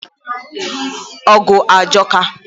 ọgụ ajọka.